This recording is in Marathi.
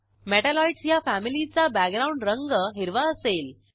मेटॅलॉइड्स ह्या फॅमिलीचा बॅकग्राऊंड रंग हिरवा असेल